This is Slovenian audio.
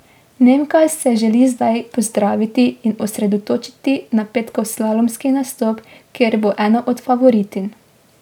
Nemka se želi zdaj pozdraviti in osredotočiti na petkov slalomski nastop, kjer bo ena od favoritinj.